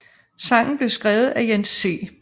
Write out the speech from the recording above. Sangen blev skrevet af Jens C